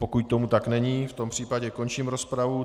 Pokud tomu tak není, v tom případě končím rozpravu.